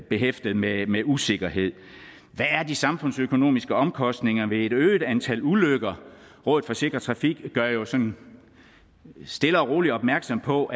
behæftet med med usikkerhed hvad er de samfundsøkonomiske omkostninger ved et øget antal ulykker rådet for sikker trafik gør jo sådan stille og roligt opmærksom på